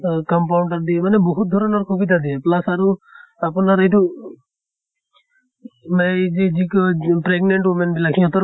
তʼ compounder দিয়ে মানে বহুত ধৰণৰ সুবিধা দিয়ে। plus আৰু আপোনাৰ এইটো উ যেই যি কয় pregnant women বিলাক সিহঁতৰ